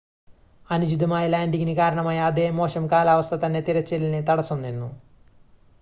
അനുചിതമായ ലാൻഡിംങിന് കാരണമായ അതേ മോശം കാലാവസ്ഥ തന്നെ തിരച്ചിലിന് തടസ്സം നിന്നു